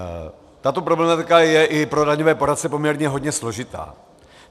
Tato problematika je i pro daňové poradce poměrně hodně složitá.